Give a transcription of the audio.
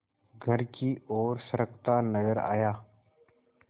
घर की ओर सरकता नजर आया